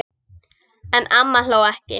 En amma hló ekki.